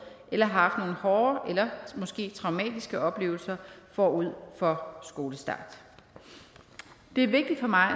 eller har haft hårde eller måske traumatiske oplevelser forud for skolestart det er vigtigt for mig